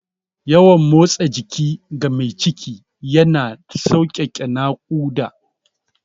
Yawan motsa jiki ga mai ciki yana sauƙaƙe naƙuda.